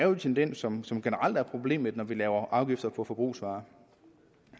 den tendens som som generelt er et problem når vi lægger afgifter på forbrugsvarer